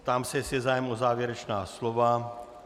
Ptám se, jestli je zájem o závěrečná slova.